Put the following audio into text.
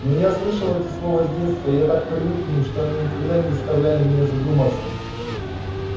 но я слышал эти слова с детства я так привык к ним что они никогда не заставляли меня задуматься